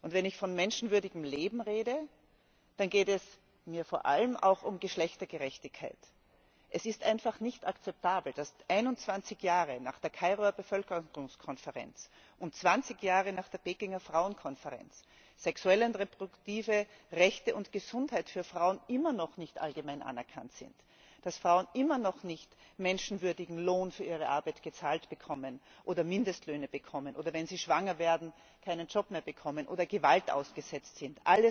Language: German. Wenn ich von menschenwürdigem Leben rede, dann geht es mir vor allem auch um Geschlechtergerechtigkeit. Es ist einfach nicht akzeptabel, dass 21 Jahre nach der Kairoer Bevölkerungskonferenz und 20 Jahre nach der Pekinger Frauenkonferenz sexuelle und reproduktive Rechte und Gesundheit für Frauen immer noch nicht allgemein anerkannt sind, dass Frauen immer noch keinen menschenwürdigen Lohn für ihre Arbeit gezahlt bekommen oder Mindestlöhne bekommen oder dass sie, wenn sie schwanger werden, keinen Job mehr bekommen oder dass sie Gewalt ausgesetzt sind.